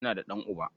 Ina da ɗan'uba.